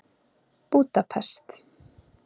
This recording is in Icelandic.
Búdapest